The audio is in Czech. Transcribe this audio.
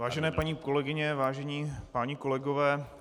Vážené paní kolegyně, vážení páni kolegové.